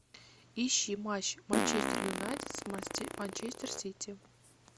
ищи матч манчестер юнайтед с манчестер сити